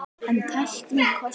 En tæknin kostar sitt.